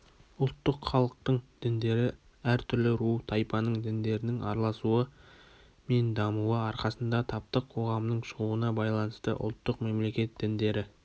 ұлттық халықтың діндері әр түрлі ру-тайпаның діндерінің араласуы мен дамуы арқасында таптық қоғамның шығуына байланысты ұлттык мемлекет діндері